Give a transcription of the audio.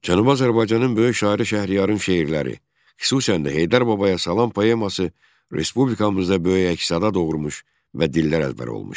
Cənubi Azərbaycanın böyük şairi Şəhriyarın şeirləri, xüsusən də Heydər Babaya Salam poeması respublikamızda böyük əks-səda doğurmuş və dillər əzbəri olmuşdu.